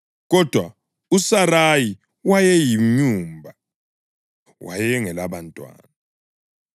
Kodwa uSarayi wayeyinyumba; wayengelabantwana.